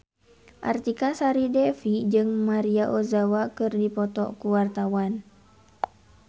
Artika Sari Devi jeung Maria Ozawa keur dipoto ku wartawan